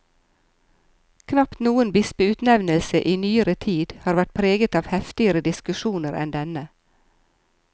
Knapt noen bispeutnevnelse i nyere tid har vært preget av heftigere diskusjoner enn denne.